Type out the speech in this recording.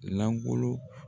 Langolo